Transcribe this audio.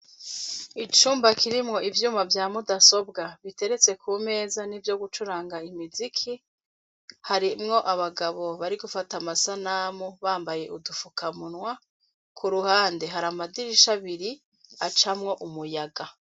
icumba kirimwo ivyuma vya mudasobwa biteretse ku meza nivyo gucuranga imiziki harimwo abagabo bari gufata amasanamu bambaye udufukamunwa ku ruhande hari amadirisha abiri acamwo umuyaga.